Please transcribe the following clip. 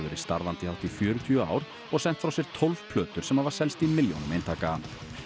verið starfandi í hátt í fjörutíu ár og sent frá sér tólf hljóðversplötur sem hafa selst í milljónum eintaka